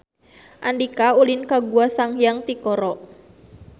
Andika ulin ka Gua Sanghyang Tikoro